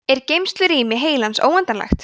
er geymslurými heilans óendanlegt